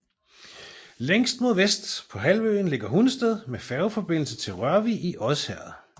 Længst mod vest på halvøen ligger Hundested med færgeforbindelse til Rørvig i Odsherred